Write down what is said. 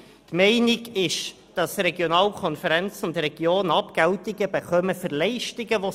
Die Meinung ist, dass Regionalkonferenzen und Regionen Abgeltungen für von ihnen erbrachte Leistungen erhalten.